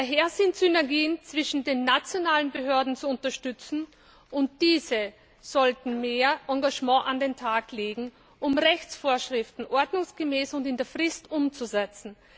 Daher sind Synergien zwischen den nationalen Behörden zu unterstützen, und diese sollten mehr Engagement an den Tag legen, um Rechtsvorschriften ordnungsgemäß und in der Frist umzusetzen.